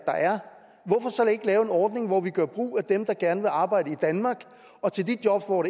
hvorfor så ikke lave en ordning hvor vi gør brug af dem der gerne vil arbejde i danmark og til de jobs hvor